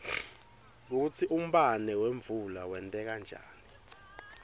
kutsi umbane wemvula wenteka njani